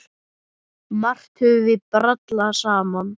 Margt höfum við brallað saman.